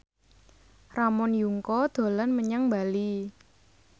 Ramon Yungka dolan menyang Bali